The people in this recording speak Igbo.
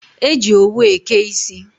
E ji owu eke isi.